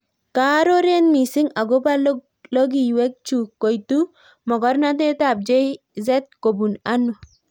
Kaaroret mising Akopoo logiwee chuu koitu mogornotet ap Jay z kobun anoo